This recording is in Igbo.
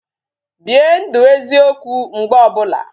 Bie ndụ eziokwu mgbe ọbụla